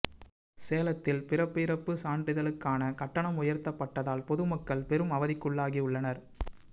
சேலத்தில் பிறப்பு இறப்பு சான்றிதளுகான கட்டணம் உயர்த்தப்பட்டதால் பொதுமக்கள் பெரும் அவதிகுள்ளாகி உள்ளனர்